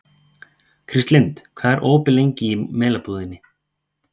Kristlind, hvað er opið lengi í Melabúðinni?